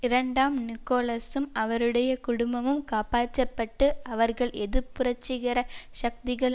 இரண்டாம் நிக்கோலசும் அவருடைய குடும்பமும் காப்பாற்ற பட்டு அவர்கள் எதிர் புரட்சிகர சக்திகள்